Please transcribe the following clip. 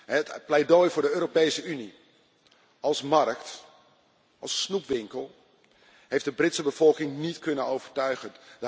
Het pleidooi voor de Europese Unie als markt, als snoepwinkel, heeft de Britse bevolking niet kunnen overtuigen.